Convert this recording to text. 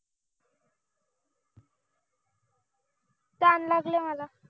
तहान लागले मला